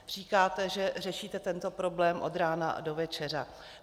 Říkáte, že řešíte tento problém od rána do večera.